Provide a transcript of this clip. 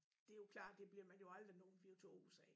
Det jo klart det bliver man jo aldrig nogen virtuos af